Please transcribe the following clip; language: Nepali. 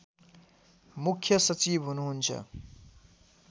मुख्‍य सचिव हुनुहुन्छ